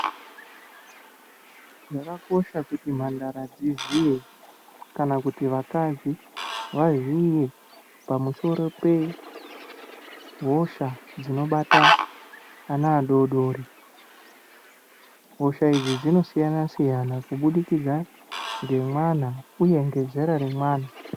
Zvakakosha kuti mhandara dziziye kana kuti vakadzi vaziye pamusoro pehosha dzinobata ana adodori. Hosha idzi dzinosiyana siyana kubudikidza ngemwana uye ngezera remwana.